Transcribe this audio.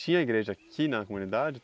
Tinha igreja aqui na comunidade?